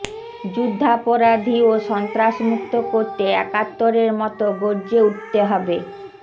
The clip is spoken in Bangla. যুদ্ধাপরাধী ও সন্ত্রাস মুক্ত করতে একাত্তরের মতো গর্জে উঠতে হবে